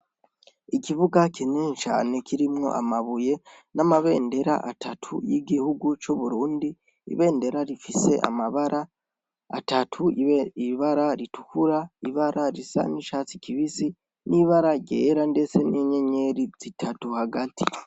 Ikibuga kinini cane, kirimwo amabuye n'amabendera atatu y'igihugu cu Burundi, ibendera rifise amabara atatu, ibara ritukura, ibara risa n'icatsi kibisi n'ibara ryera ndetse n'inyenyeri zitatu hagati.